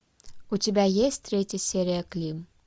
у тебя есть третья серия клим